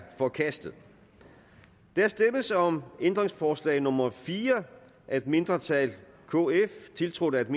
forkastet der stemmes om ændringsforslag nummer fire af et mindretal tiltrådt af